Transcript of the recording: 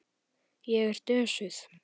Ég er dösuð.